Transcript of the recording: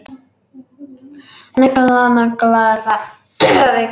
Negla nagla er að reykja.